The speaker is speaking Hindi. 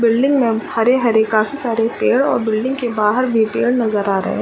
बिल्डिंग में अब हरे - हरे काफी सारे पेड़ और बिल्डिंग के बहार भी पेड़ नजर आ रहे है ।